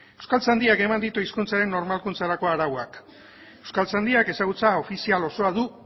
euskaltzaindiak eman ditu hizkuntzaren normalkuntzarako arauak euskaltzaindiak ezagutza ofizial osoa du